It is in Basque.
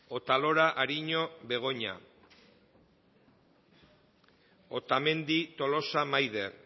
otalora ariño begoña otamendi tolosa maider